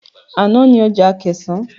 Ana ni ọjà Akẹ̀sán.